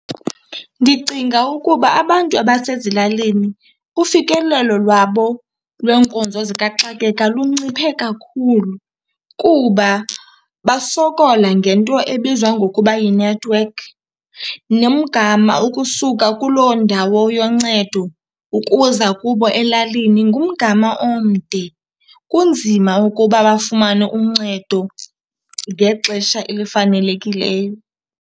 Ndicinga ukuba abantu abasezilalini ufikelelo lwabo lweenkonzo zikaxakeka lunciphe kakhulu kuba basokola ngento ebizwa ngokuba yi-network. Nomgama ukusuka kuloo ndawo yoncedo ukuza kubo elalini ngumgama omde. Kunzima ukuba bafumane uncedo ngexesha elifanelekileyo.